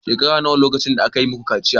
Shekara nawa lokacin da aka yi muku kaciya